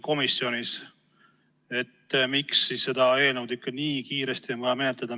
Miks on vaja seda eelnõu nii kiiresti menetleda?